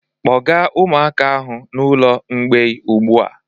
Kpọga ụmụaka ahụ n'ụlọ mgbei ugbu a!